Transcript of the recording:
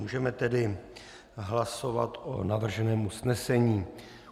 Můžeme tedy hlasovat o navrženém usnesení.